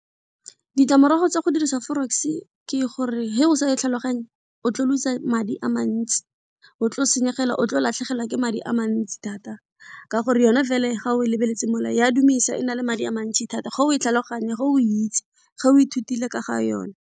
Ditlamorago tsa go dirisa forex ke gore he o sa e tlhaloganye o tlo loser madi a mantsi, o tlo senyegela, o tlo latlhegelwa ke madi a mantsi thata ka gore yone ga o lebeletse mo le, e a dumedisa e na le madi a mantsi thata ga o e tlhaloganya, ge o itse, ge o ithutile ka ga yone.